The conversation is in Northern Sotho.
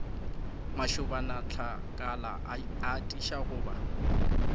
mašobanatlakala a atiša go ba